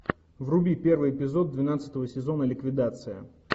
вруби первый эпизод двенадцатого сезона ликвидация